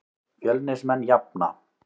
Fjölnismenn jafna.